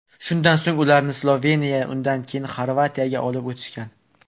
Shundan so‘ng ularni Sloveniyaga, undan keyin Xorvatiyaga olib o‘tishgan.